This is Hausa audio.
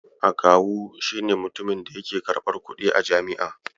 Akawu shi ne mutumin da yake karɓar kuɗi a jam'i.